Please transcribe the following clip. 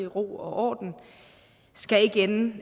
ro og orden skal ikke ende